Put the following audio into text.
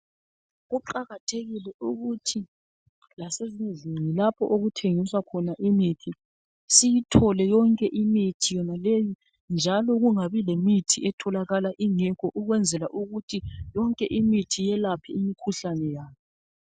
Kuqakathekile ukuthi lasezindlini lapho okuthengiswa khona imithi siyithole yonke imithi yonaleyi njalo kungabi lemithi etholakala ingekho ukwenzela ukuthi yonke imithi iyelaphe imikhuhlane yayo.